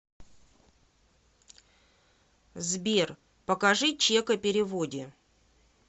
сбер покажи чек о переводе